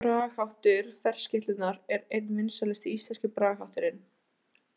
Bragarháttur ferskeytlunnar er einn vinsælasti íslenski bragarhátturinn.